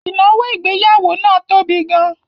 Ìnáwó ìgbéyàwó náà tóbi gan